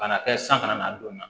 Ka na kɛ san kana n'a donna